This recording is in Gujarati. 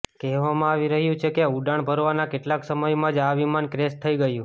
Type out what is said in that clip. કહેવામાં આવી રહ્યું છે કે ઉડાણ ભરવાના કેટલાક સમયમાં જ આ વિમાન ક્રેશ થઈ ગયું